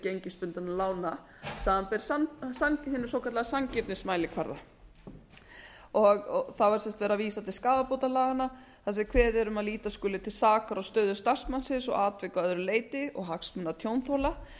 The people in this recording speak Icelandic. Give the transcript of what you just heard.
gengisbundinna lána samanber hinum svokallaða sanngirnismælikvarða það var sem sagt verið að vísa til skaðabótalaganna þar sem kveðið er um að líta skuli til sakar á stöðu starfsmannsins og atvika að öðru leyti og hagsmuna tjónþola